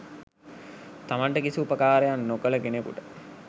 තමන්ට කිසි උපකාරයක් නොකළ කෙනකුට